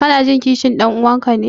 Kanajin kishin ɗan'uwanka ne?